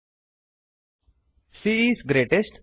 c is greatest